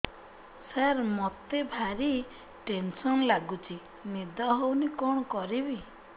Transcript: ସାର ମତେ ଭାରି ଟେନ୍ସନ୍ ଲାଗୁଚି ନିଦ ହଉନି କଣ କରିବି